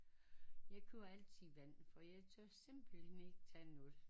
Jeg køber altid vand for jeg tør simpelthen ikke tage noget